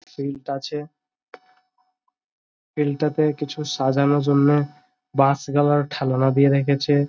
Field আছে। Field -টাতে কিছু সাজানোর জন্য বাস গালা ঠালোনা দিয়ে রেখেছে।